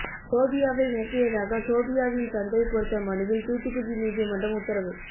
சோபியாவை மிரட்டியதாக சோபியாவின் தந்தை கொடுத்த மனுவில் தூத்துக்குடி நீதிமன்றம் உத்தரவு